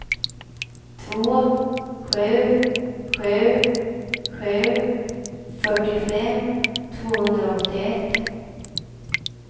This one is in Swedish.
två sju sju sju fyrtiofem tvåhundraåttioett